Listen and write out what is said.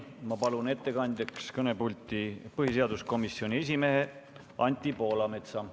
Ma palun ettekandjaks kõnepulti põhiseaduskomisjoni esimehe Anti Poolametsa.